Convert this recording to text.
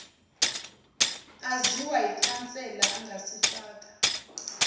aziwa yikhansela angasifaka